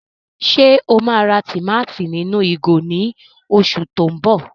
Ṣe o ma rà tùmátìn ninu ìgò ni oṣù ti o mbọ?